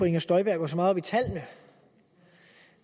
inger støjberg går så meget op i tallene